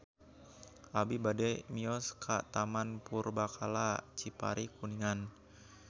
Abi bade mios ka Taman Purbakala Cipari Kuningan